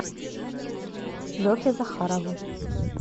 лехе захарову